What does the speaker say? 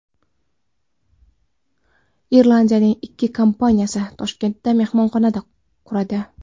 Irlandiyaning ikki kompaniyasi Toshkentda mehmonxona quradi.